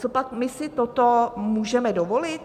Copak my si toto můžeme dovolit?